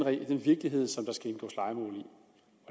virkelighed som